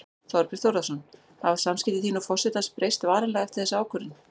Þorbjörn Þórðarson: Hafa samskipti þín og forsetans breyst varanlega eftir þessa ákvörðun?